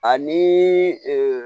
Ani